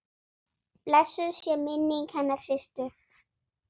Blessuð sé minning hennar Systu.